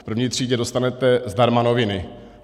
V první třídě dostanete zdarma noviny.